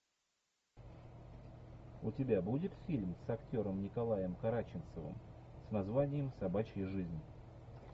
у тебя будет фильм с актером николаем караченцовым с названием собачья жизнь